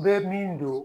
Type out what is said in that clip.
U bɛ min don